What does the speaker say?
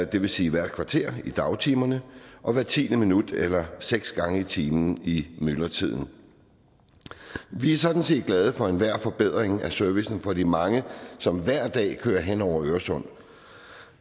det vil sige hvert kvarter i dagtimerne og hvert tiende minut eller seks gange i timen i myldretiden vi er sådan set glade for enhver forbedring af servicen for de mange som hver dag kører hen over øresund